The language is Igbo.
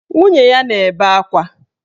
Nwunye ya na-ebe akwa.